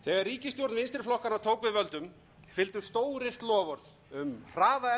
ríkisstjórn vinstri flokkanna tók við völdum fylgdu stóryrt loforð um hraða endurreisn